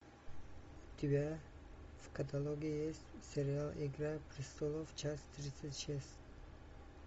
у тебя в каталоге есть сериал игра престолов часть тридцать шесть